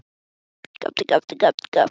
Á þessum stað var hann áttavilltur.